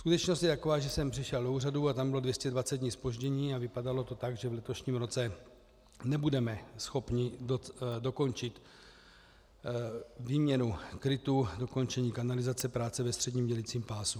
Skutečnost je taková, že jsem přišel do úřadu a tam bylo 220 dní zpoždění a vypadalo to tak, že v letošním roce nebudeme schopni dokončit výměnu krytů, dokončení kanalizace, práce ve středním dělicím pásu.